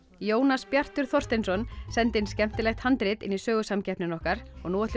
Jónas Bjartur Þorsteinsson sendi inn skemmtilegt handrit inn í sögusamkeppnina okkar og nú ætlum